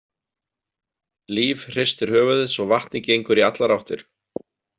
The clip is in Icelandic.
Líf hristir höfuðið svo vatnið gengur í allar áttir.